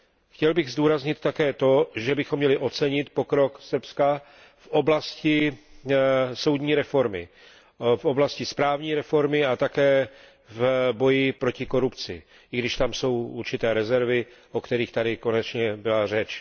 Chtěl bych zdůraznit také to, že bychom měli ocenit pokrok Srbska v oblasti soudní reformy, v oblasti správní reformy a také v boji proti korupci, i když tam jsou určité rezervy, o kterých tady konečně byla řeč.